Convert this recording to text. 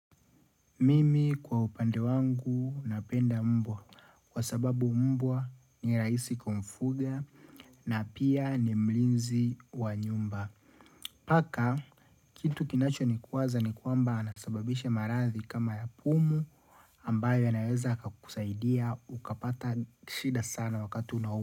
Mimi kwa upande wangu napenda mbwa Kwa sababu mbwa ni rahisi kumfuga na pia ni mlinzi wa nyumba Paka kitu kinacho ni kuwaza ni kwamba anasababisha maradhi kama ya pumu ambayo yanaweza yakakusaidia ukapata shida sana wakati unau.